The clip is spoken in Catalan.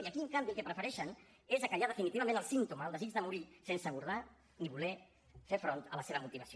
i aquí en canvi el que prefereixen és fer callar definitivament el símptoma el desig de morir sense abordar ni voler fer front a la seva motivació